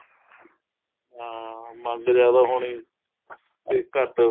ਹਾਂ ਮੰਗ ਜਿਆਦਾ ਹੋਣੀ ਤੇ ਘੱਟ